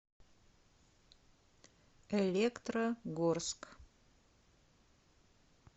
электрогорск